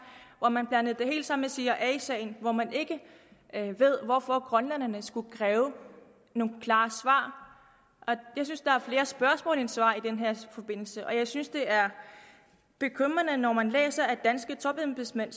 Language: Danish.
at man blandede det hele sammen med cia sagen og at man ikke ved hvorfor grønlænderne skulle kræve nogle klare svar jeg synes der er flere spørgsmål end svar i den her forbindelse og jeg synes det er bekymrende når man læser at danske topembedsmænd